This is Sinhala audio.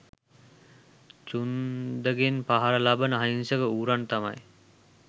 චුන්දගෙන් පහර ලබන අහිංසක ඌරන් තමයි.